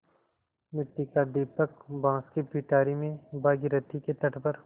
मिट्टी का दीपक बाँस की पिटारी में भागीरथी के तट पर